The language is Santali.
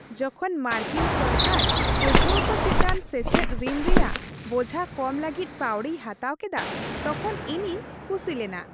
ᱡᱚᱠᱷᱚᱱ ᱢᱟᱨᱠᱤᱱ ᱥᱚᱨᱠᱟᱨ ᱯᱟᱹᱴᱷᱣᱟᱹ ᱠᱚ ᱪᱮᱛᱟᱱ ᱥᱮᱪᱮᱫ ᱨᱤᱱ ᱨᱮᱭᱟᱜ ᱵᱳᱡᱷᱟ ᱠᱚᱢ ᱞᱟᱹᱜᱤᱫ ᱯᱟᱹᱣᱲᱤᱭ ᱦᱟᱛᱟᱣ ᱠᱮᱫᱟ ᱛᱚᱠᱷᱚᱱ ᱤᱧᱤᱧ ᱠᱩᱥᱤ ᱞᱮᱱᱟ ᱾